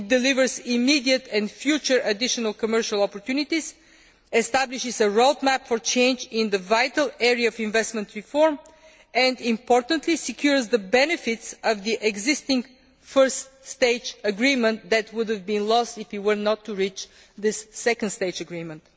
It delivers immediate and future additional commercial opportunities, establishes a road map for change in the vital area of investment reform and, importantly, secures the benefits of the existing First Stage Agreement that would have been lost if we had not reached this Second Stage Agreement.